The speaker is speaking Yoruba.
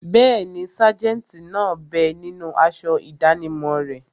Bẹ́ẹ̀ni, sájẹ̀ntì náà bẹ ninú aṣọ ìdánimọ̀ rẹ̀